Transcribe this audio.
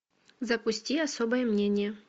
запусти особое мнение